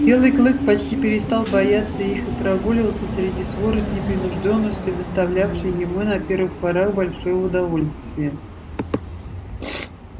белый клык почти перестал бояться их и прогуливался среди своры с непринуждённостью доставлявшей ему на первых порах большое удовольствие